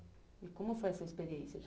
E como foi essa experiência de